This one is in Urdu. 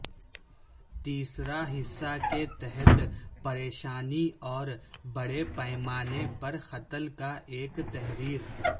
تیسرا حصہ کے تحت پریشانی اور بڑے پیمانے پر قتل کا ایک تحریر